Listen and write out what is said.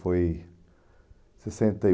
Foi sessenta e